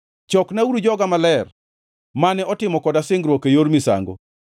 “Choknauru joga maler, mane otimo koda singruok e yor misango.”